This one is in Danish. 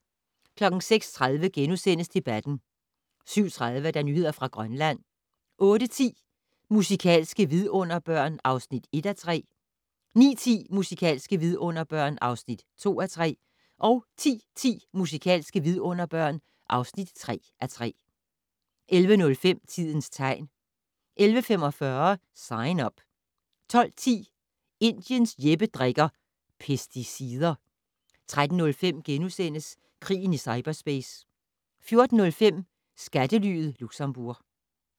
06:30: Debatten * 07:30: Nyheder fra Grønland 08:10: Musikalske vidunderbørn (1:3) 09:10: Musikalske vidunderbørn (2:3) 10:10: Musikalske vidunderbørn (3:3) 11:05: Tidens tegn 11:45: Sign Up 12:10: Indiens Jeppe drikker - pesticider 13:05: Krigen i cyperspace * 14:05: Skattelyet Luxembourg